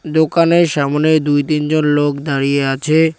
দোকানের সামোনে দুই-তিনজন লোক দাঁড়িয়ে আছে।